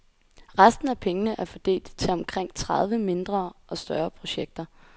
Resten af pengene er fordelt til omkring tredive mindre og større projekter.